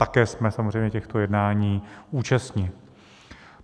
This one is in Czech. Také jsme samozřejmě těchto jednání účastni.